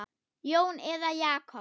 Jón eða Jakob?